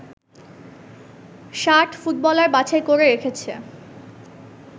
৬০ footballer বাছাই করে রেখেছে